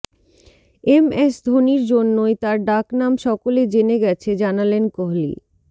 MS ধোনির জন্যই তার ডাকনাম সকলে জেনে গেছে জানালেন কোহলি